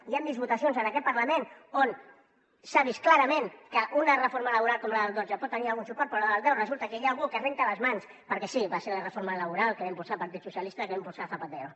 i hem vist votacions en aquest parlament on s’ha vist clarament que una reforma laboral com la del dotze pot tenir algun suport però en la del deu resulta que hi ha algú que se’n renta les mans perquè sí va ser la reforma laboral que va impulsar el partit socialista que va impulsar zapatero